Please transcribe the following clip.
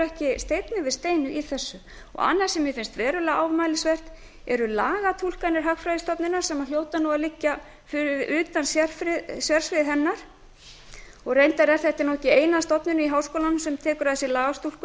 ekki steinn yfir steini í þessu annað sem mér finnst verulega ámælisvert er lagatúlkanir hagfræðistofnunar sem hljóta að liggja utan sérsviðs hennar reyndar er þetta ekki eina stofnunin í háskólanum sem tekur að sér lagatúlkun